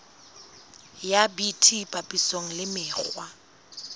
ya bt papisong le mekgwa